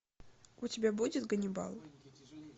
у тебя будет ганнибал